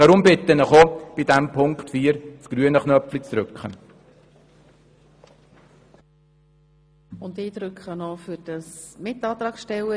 Darum bitte ich Sie, auch bei Auflage 4 den grünen Knopf zu drücken.